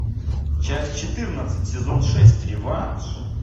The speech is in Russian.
часть четырнадцать сезон шесть реванш